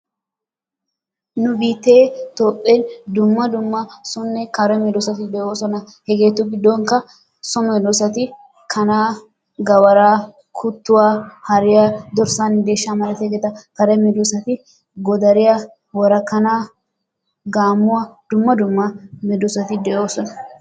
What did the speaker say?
nu biitte toophee dumma dumma sonne kare meedoosati de'oosona. hegetu giddonkka so medoosati kanaa, gawaara, kuttuwaa, hariyaa, dorssanne deeshshaa malatiyaageeta. kare medoosati godariyaa, worakanaa, gaammuwaa, dumma dumma medoosati de'oosona.